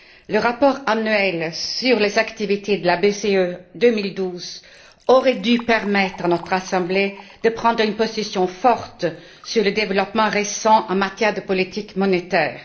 Le rapport annuel sur les activités de la BCE 2012 aurait dû permettre à notre Assemblée de prendre une position forte sur les développements récents en matière de politique monétaire.